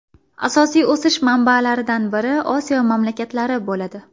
Asosiy o‘sish manbalaridan biri Osiyo mamlakatlari bo‘ladi.